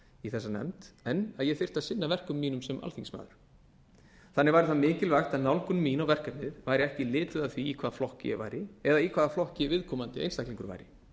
í þessa nefnd en að ég þyrfti að annan verkum mínum sem alþingismaður þannig væri það mikilvægt að nálgun mín á verkefnið væri ekki lituð af því í hvaða flokki ég væri eða í hvaða flokki viðkomandi einstaklingur væri